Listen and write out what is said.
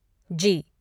जी